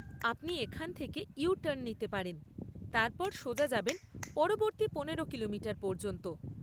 আপনি এখান থেকে ইউ টার্ন নিতে পারেন, তারপর সোজা যাবেন পরবর্তী পনেরো কিলোমিটার পর্যন্ত।